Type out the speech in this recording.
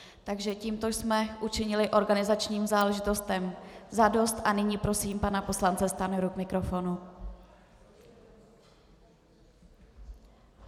Takže tímto jsme učinili organizačním záležitostem za dost a nyní prosím pana poslance Stanjuru k mikrofonu.